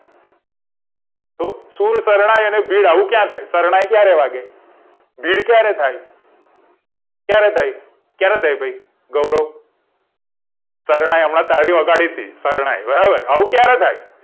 તો શુર શરણાઈ અને ભીડ આવું ક્યારે થાય શરણાઈ ક્યારે વાગે ભીડ ક્યારે થાય ક્યારે થાય ભઈ ગૌરવ શરણાઈ અમણો તારી વગાડીતી શરણાઈ બરાબર આવું ક્યારે થાય